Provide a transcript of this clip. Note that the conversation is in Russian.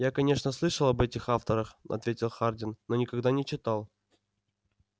я конечно слышал об этих авторах ответил хардин но никогда не читал